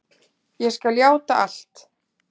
Ég skal játa allt.